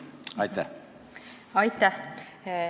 Aitäh!